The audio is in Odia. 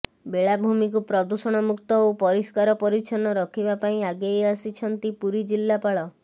ବେଳାଭୂମିକୁ ପ୍ରଦୂଷଣମୁକ୍ତ ଓ ପରିସ୍କାର ପରିଚ୍ଛନ ରଖିବା ପାଇଁ ଆଗେଇ ଆସିଛନ୍ତି ପୁରୀ ଜିଲ୍ଲାପାଳ